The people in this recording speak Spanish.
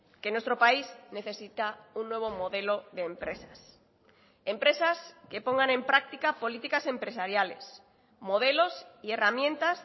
que nuestro país necesita un nuevo modelo de empresas empresas que pongan en práctica políticas empresariales modelos y herramientas